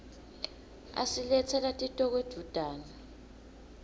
asiletsela titoko edvutane